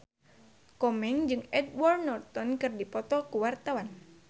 Komeng jeung Edward Norton keur dipoto ku wartawan